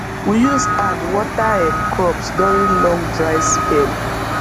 we use hand water um crops during long dry spell